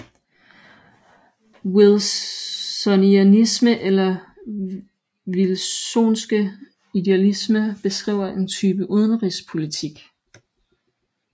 Wilsonianisme eller Wilsonske idealisme beskriver en bestemt type udenrigspolitisk